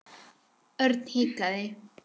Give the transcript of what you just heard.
Örn hikaði.